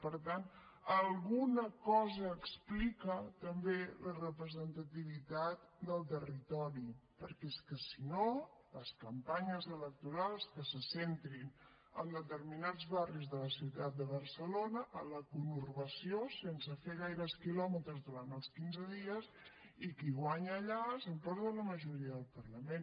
per tant alguna cosa explica també la representativitat del territori perquè és que si no les campanyes electorals que se centrin en determinats barris de la ciutat de barcelona a la conurbació sense fer gaires quilòmetres durant els quinze dies i qui guanya allà s’emporta la majoria del parlament